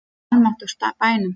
Í almáttugs bænum!